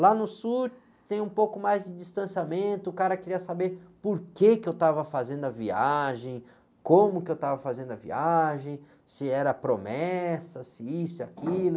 Lá no sul tem um pouco mais de distanciamento, o cara queria saber por que eu estava fazendo a viagem, como que eu estava fazendo a viagem, se era promessa, se isso, se aquilo.